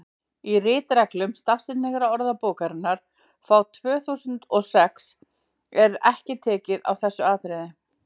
í ritreglum stafsetningarorðabókarinnar frá tvö þúsund og sex er ekki tekið á þessu atriði